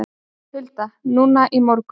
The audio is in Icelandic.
Hulda: Núna í morgun?